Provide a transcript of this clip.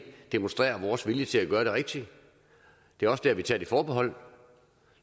demonstrerer vores vilje til at gøre det rigtige det er også der vi tager nogle forbehold